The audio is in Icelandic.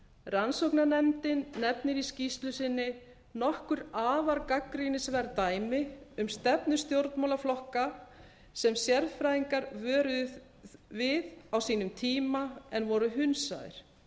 rannsóknarnefndin nefnir í skýrslu sinni nokkur afar gagnrýnisverð dæmi um stefnu stjórnmálaflokka sem sérfræðingar vöruðu við á sínum tíma en voru hunsaðir